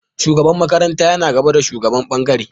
Shugaban makaranta yana gaba da shugaban ɓangare.